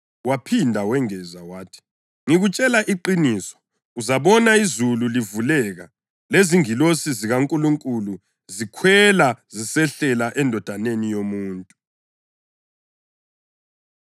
Waphinda wengeza wathi, “Ngikutshela iqiniso, uzabona izulu livuleka, lezingilosi zikaNkulunkulu zikhwela zisehlela eNdodaneni yoMuntu.”